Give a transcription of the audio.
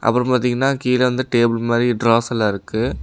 அப்ரோ பார்த்தீங்ன்னா கீழ வந்து டேபிள் மாரி ட்ராஸ்செல்லா இருக்கு.